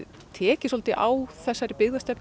tekið svolítið á þessari